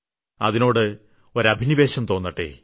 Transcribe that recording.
അതിനോട് ഒരഭിനിവേശം തോന്നട്ടെ